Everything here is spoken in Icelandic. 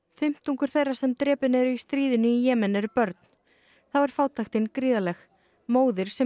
fimmtungur þeirra sem drepin eru í stríðinu í Jemen eru börn þá er fátæktin gríðarleg móðir sem